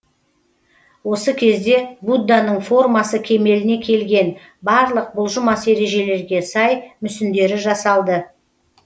осы кезде будданың формасы кемеліне келген барлық бұлжымас ережелерге сай мүсіндері жасалды